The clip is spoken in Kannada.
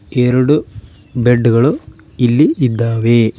ಎರಡು ಬೆಡ್ ಗಳು ಇಲ್ಲಿ ಇದ್ದಾವೆ.